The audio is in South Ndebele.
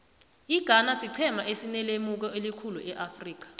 ighana siqhema esinelemuko elikhulu eafrika